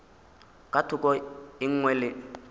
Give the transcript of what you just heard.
ka thoko e nngwe le